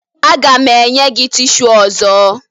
Aga m enye gị tishu ọzọ